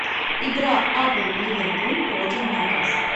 игра апл ливерпуль против ньюкасл